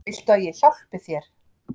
Viltu að ég hjálpi þér?